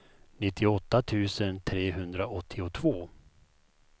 nittioåtta tusen trehundraåttiotvå